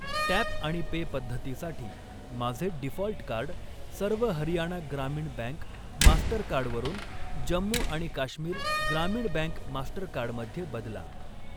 Tap आणि pay पद्धतीसाठी माझे डीफॉल्ट कार्ड सर्व हरियाणा ग्रामीण बँक मास्टरकार्ड वरून जम्मू आणि काश्मीर ग्रामीण बँक मास्टरकार्ड मध्ये बदला.